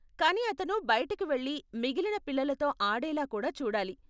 కానీ అతను బయటికి వెళ్లి మిగిలిన పిల్లలతో ఆడేలా కూడా చూడాలి.